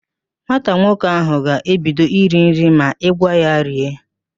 Nwata nwoke ahụ ga-ebido iri nri ma i gwa ya rie